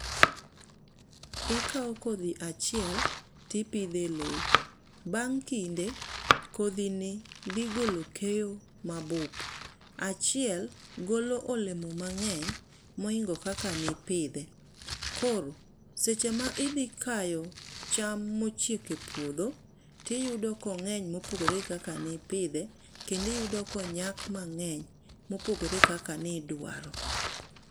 Ikao kodhi achiel to ipidho e lowo. Bang' kinde, kodhi ni dhi golo keyo mabup. Achiel golo olemo mangény mohingo kaka ne ipidhe. Koro seche ma idhi kayo cham ma ochiek e puodho, to iyudo ka ongény ma opogore kaka ne ipidhe, kendo iyudo ka onyak mangény mopogore gi kaka ne idwaro.